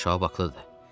Şahab haqlıdır.